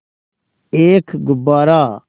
एक गुब्बारा